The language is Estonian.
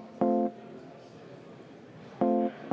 Juhataja vaheaeg